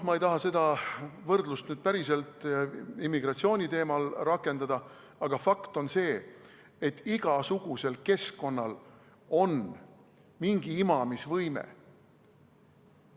Ma ei taha seda võrdlust nüüd päriselt immigratsiooni teemal rakendada, aga fakt on see, et igasugusel keskkonnal on mingi imamisvõime.